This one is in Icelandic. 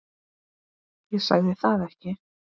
Ég sagði það ekki.